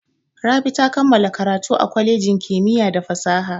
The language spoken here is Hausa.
Rabi ta kammala karatu a kwalejin kimiyya da fasaha.